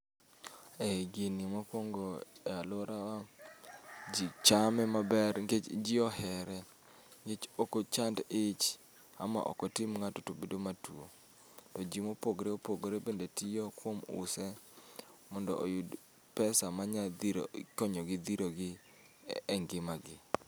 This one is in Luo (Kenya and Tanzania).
Ei gini mokuongo e aluorawa, ji chame maber nikech ji ohere. Nikech ok ochand ich ama ok otim ng'ato to bedo matuo. To ji mopogore opogore bende tiyo kuom use mondo oyud pesa manyalo dhiro konyogi dhiro gi e ngimagi.